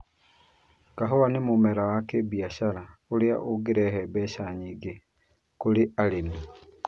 Kahua nĩ mũmera wa kĩbiashara ũrĩa ũngĩrehe mbeca nyingĩ kũrĩ arĩmi.